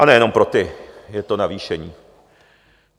A nejenom pro ty je to navýšení.